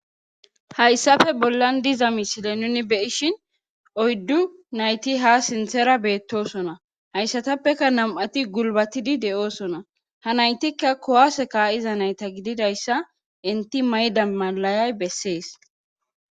hayssafe bollan diza misile nuni beyishin oyddu nayti ha sinthera beettosona hayssatappeka nam7ati gulbatidi de7oosona ha naytikka kowaase ka7iza nayta gididayssa inti mayda malayay bessees